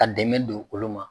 Ka dɛmɛ don olu ma